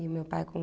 E o meu pai com